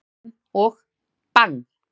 Þá skýturðu hann og BANG!